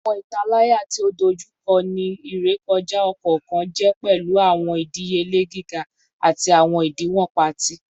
Awọn italaya ti o dojukọ ni irekọja ọkọọkan jẹ pẹlu awọn idiyele giga ati awọn idiwọn paati